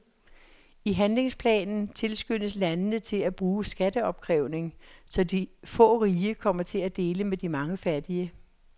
I handlingsplanen tilskyndes landene til at bruge skatteopkrævning, så de få rige kommer til at dele med de mange fattige.